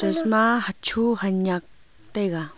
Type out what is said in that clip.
chashma hacho hanyak taiga .